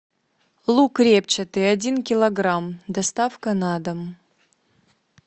лук репчатый один килограмм доставка на дом